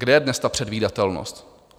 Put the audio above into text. Kde je dnes ta předvídatelnost?